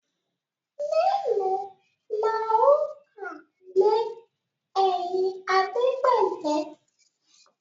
mèlòó là o ká lè ẹyìn Adepele